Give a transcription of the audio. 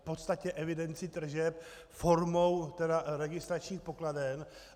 V podstatě evidenci tržeb formou registračních pokladen.